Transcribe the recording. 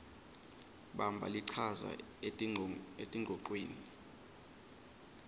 bamba lichaza etingcocweni